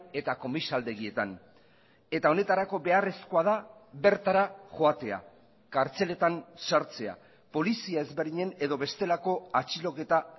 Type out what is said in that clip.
eta komisaldegietan eta honetarako beharrezkoa da bertara joatea kartzeletan sartzea polizia ezberdinen edo bestelako atxiloketa